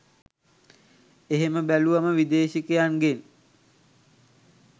එහෙම බැලුවම විදෙශිකයෙක්ගෙන්